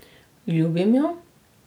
Ljubim jo.